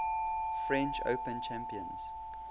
french open champions